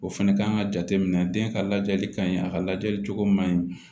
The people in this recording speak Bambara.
O fɛnɛ kan ka jateminɛ den ka lajɛli ka ɲi a ka lajɛ cogo man ɲi